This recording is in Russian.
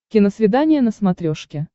киносвидание на смотрешке